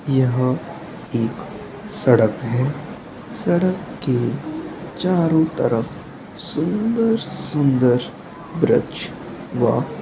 यह एक सड़क है सड़क के चारो तरफ सुंदर-सुंदर वृक्ष व --